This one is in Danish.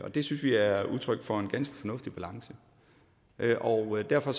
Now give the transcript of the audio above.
og det synes vi er udtryk for en ganske fornuftig balance og derfor